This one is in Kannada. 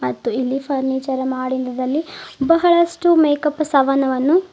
ಮತ್ತು ಇಲ್ಲಿ ಫರ್ನಿಚರ್ ಮಾಡಿಂದದ ಅಲ್ಲಿ ಬಹಳಷ್ಟು ಮೇಕಪ್ ಸಾಮಾನುವನ್ನು--